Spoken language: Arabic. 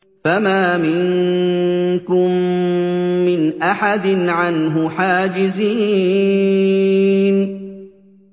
فَمَا مِنكُم مِّنْ أَحَدٍ عَنْهُ حَاجِزِينَ